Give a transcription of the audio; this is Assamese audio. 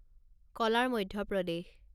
কলাৰ মধ্য প্ৰদেশ